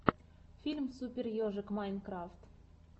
фильм супер ежик майнкрафт